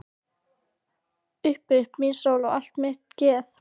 Upp upp mín sól og allt mitt geð.